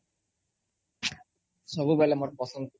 ସବୁ ବେଲେ ମୋର ପସନ୍ଦ